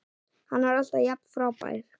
Hann var alltaf jafn frábær.